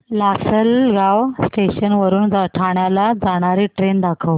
Lasalgaon station वरून ठाण्याला जाणारी ट्रेन दाखव